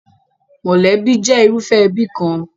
Mọ̀lẹ́bí jẹ́ irúfẹ́ ẹbí kan.